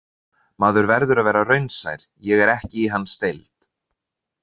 Maður verður að vera raunsær, ég er ekki í hans deild.